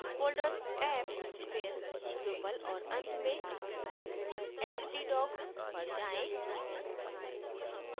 folders apps फिर drupal और अंत में htdocs पर जाएँ